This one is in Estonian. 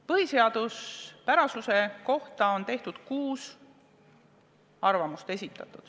Põhiseaduspärasuse kohta on esitatud kuus arvamust.